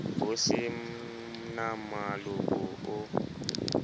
ho se na moloko o